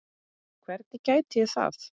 Hvernig gæti ég það?